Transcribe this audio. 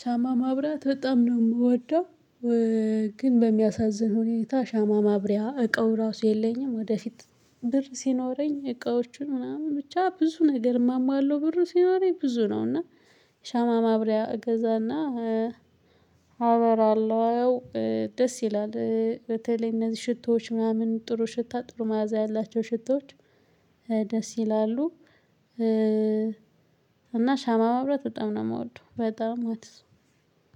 ሻማ ማብራት በጣም ነው የምወደው። ግን በሚያሳዝን ሁኔታ ሻማ ማብሪያ እቃው ራሱ የለኝም። ወደፊት ብር ሲኖረኝ እቃዎቹን ምናምን ብቻ ብዙ ነገር እሟሟለሁ ብር ሲኖረኝ ብዙ ነው። እና ሻማ ማብሪያ እገዛና አበራለው። ደስ ይላል በተለይ እነዚህ ሽቶዎች ምናምን ጥሩ ሽታ ጥሩ መዓዛ ያላቸው ሽቶዎች ደስ ይላሉ። እና ሻማ ማብራት በጣም ነው የምወደው በጣም